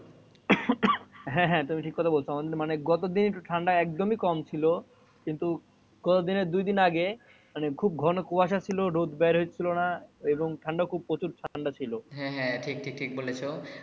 হ্যা হ্যা তোমি ঠিক কথা বলছো মানে গতদিন ঠান্ডা একদমই কম ছিল কিন্তু গত দিনের দুইদিন আগে খুব ঘন কুয়াশা ছিল রোদ বার হৈচিলোনা এবং ঠান্ডা খুব প্রচুর ঠান্ডা ছিল হ্যা হ্যা ঠিক ঠিক বলেছো।